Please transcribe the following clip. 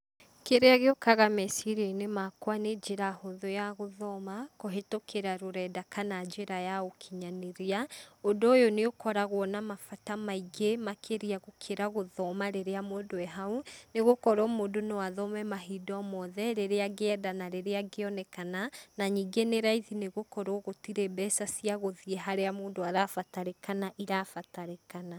Kĩrĩa gĩũkaga meciria-inĩ makwa nĩ njĩra hũthũ ya gũthoma, kũhĩtũkĩra rũrenda kana njĩra ya ũkĩnyanĩrĩa. Ũndũ ũyũ nĩ ũkoragwo na mabata maingĩ makĩria gũkĩra gũthoma rĩrĩa mũndũ e hau, nĩ gũkorwo mũndũ no athome mahinda o mothe rĩrĩa angĩenda na rĩrĩa angĩonekana. Na ningĩ nĩ raithi nĩ gũkorwo gũtirĩ mbeca cia gũthiĩ harĩa mũndũ arabatarĩkana irabatarĩkana.